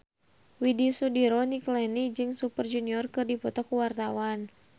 Widy Soediro Nichlany jeung Super Junior keur dipoto ku wartawan